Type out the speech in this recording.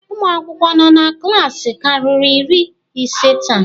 Ụmụ akwụkwọ nọ na klaasị akarịrị iri ise taa?